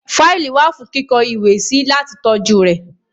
Fáìlì wà fún kíkó ìwé sí láti tọ́jú rẹ̀.